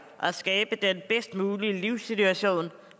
og skabe den bedst mulige livssituation